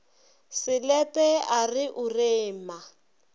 selepe a re o rema